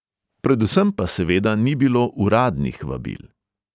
Predvsem pa seveda ni bilo uradnih vabil.